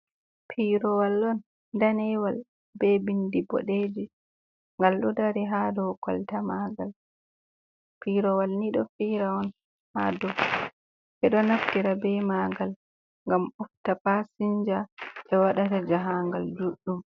Piirowal on danewal, be bindi boɗeejum. ngal do dari ha dow kolta mangal, piirowal ni do fiira on ha dow ɓe do naftira be maagal ngam ɓofta paasinja jei wadata jahaagal judɗum.